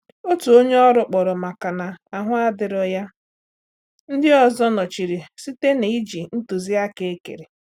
Otu onye ọrụ kpọrọ makà na ahụ adirọ ya, ndị ọzọ nnọchiri site na iji ntuziaka ekere.